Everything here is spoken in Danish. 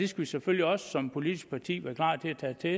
skal selvfølgelig også som politisk parti være klar til at tage det